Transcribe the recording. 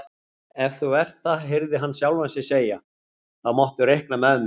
Ef þú ert það heyrði hann sjálfan sig segja, þá máttu reikna með mér